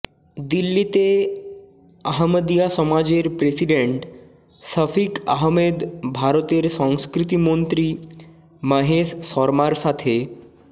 দিল্লিতে আহমদীয়া সমাজের প্রেসিডেন্ট শফিক আহমেদ ভারতের সংস্কৃতিমন্ত্রী মহেশ শর্মার সাথে